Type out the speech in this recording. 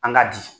An ka di